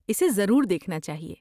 اسے ضرور دیکھنا چاہئے۔